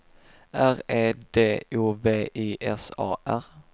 R E D O V I S A R